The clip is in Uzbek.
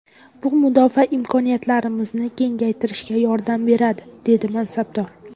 Bu mudofaa imkoniyatlarimizni kengaytirishga yordam beradi”, dedi mansabdor.